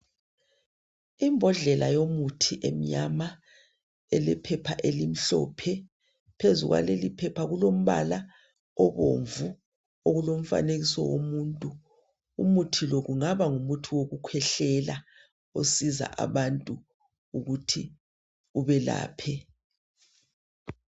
Imbodlela yomuthi emnyama elephepha elimhlophe. Phezu kwaleliphepha kulombala obomvu okulomfanekiso womuntu. Umuthi lo kungaba ngumuthi wokukhwehlela isiza abantu ukuthi ubelapha.